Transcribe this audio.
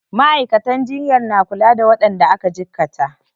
Ma'aikatan jinyar na kula da waɗanda aka cikkata.